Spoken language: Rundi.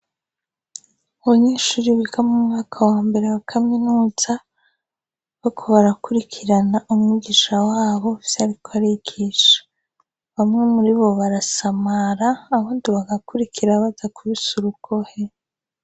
Abanyeshuri biga mumwaka wa mbere wa kaminuza bo ko barakurikirana umugisha w'abo vyariko arigisha. Bamwe muri bo barasamara abundi bagakurikira bada kubise rukohe.